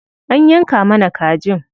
An yanka mana kajin.